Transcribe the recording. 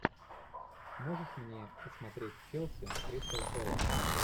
можешь мне посмотреть челси кристал пэлас